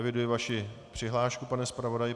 Eviduji vaši přihlášku, pane zpravodaji.